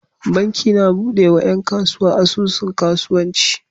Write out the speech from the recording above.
Banki na buɗe wa yan kasuwa asusun kasuwanci